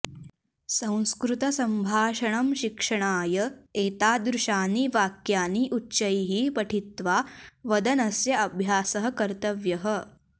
संस्कृतसम्भाषणं शिक्षणाय एतादृशानि वाक्यानि उच्चैः पठित्वा वदनस्य अभ्यासः कर्तव्यः